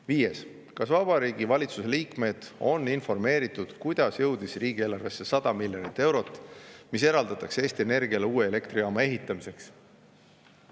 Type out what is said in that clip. Viies küsimus: "Kas Vabariigi Valitsuse liikmeid on informeeritud, kuidas jõudis riigieelarvesse 100 miljonit eurot, mis eraldatakse Eesti Energiale uue elektrijaama ehitamiseks?